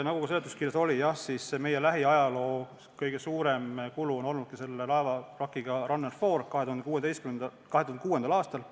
Nagu seletuskirjas märgitud on, meie lähiajaloos kõige suurem kulu on olnud seotud laeva Runner 4 vrakiga 2006. aastal.